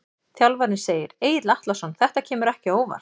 Þjálfarinn segir- Egill Atlason Þetta kemur ekki á óvart.